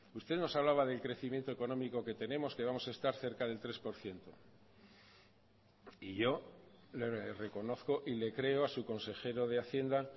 usted nos hablaba del crecimiento económico que tenemos que vamos a estar cerca del tres por ciento y yo le reconozco y le creo a su consejero de hacienda